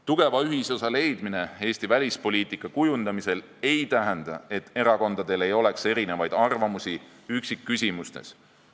Tugeva ühisosa leidmine Eesti välispoliitika kujundamisel ei tähenda, et erakondadel ei oleks erinevaid arvamusi üksikküsimustes.